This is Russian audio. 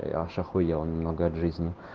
я аж ахуел немного от жизни